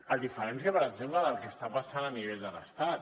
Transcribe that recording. a diferència per exemple del que està passant a nivell de l’estat